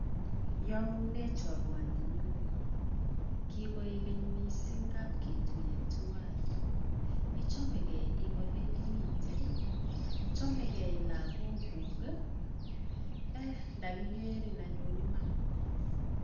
Iomunee chorwanii nyun kikoigeny missing ngap ketuiyee twan ichomegee en ole imiten chomegee lologuuk kii tokikerin anyun iman.